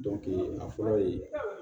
a fɔlɔ ye